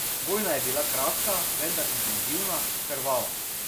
Vojna je bila kratka, vendar intenzivna, krvava.